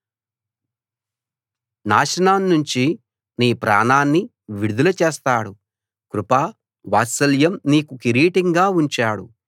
నాశనాన్నుంచి నీ ప్రాణాన్ని విడుదల చేస్తాడు కృప వాత్సల్యం నీకు కిరీటంగా ఉంచాడు